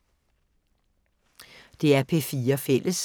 DR P4 Fælles